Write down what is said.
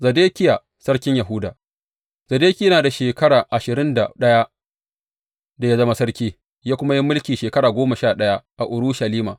Zedekiya sarkin Yahuda Zedekiya yana da shekara ashirin da ɗaya da ya zama sarki, ya kuma yi mulki shekara goma sha ɗaya a Urushalima.